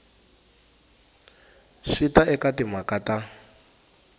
swi ta eka timhaka ta